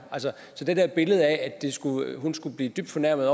så til det billede af at hun skulle blive dybt fornærmet